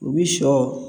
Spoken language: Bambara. U bi sɔ